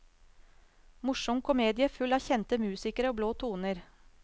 Morsom komedie full av kjente musikere og blå toner.